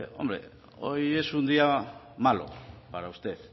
hombre hoy es un día malo para usted